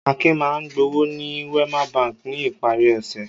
Akin máa ń gbowó ní Wema Bank ní ìparí ọ̀sẹ̀.